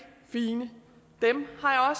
fine dem har